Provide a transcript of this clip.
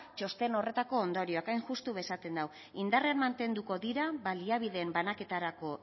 txosten horretako ondorioak hain justu esaten du indarrean mantenduko dira baliabideen banaketarako